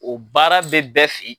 O baara bɛ bɛɛ fɛ yen.